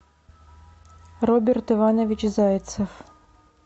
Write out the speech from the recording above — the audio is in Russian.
роберт иванович зайцев